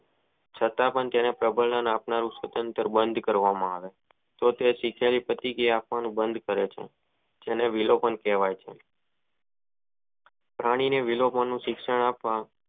છતાં પણ પ્રબંન આત્મા નું બંધ કરવા માં આવે તો પછી તો તે સિંચય બંધ કરે છે તેને વિલોપન કહેવાય છે ફેની ને વિલોપન નું શિક્ષણ આપવા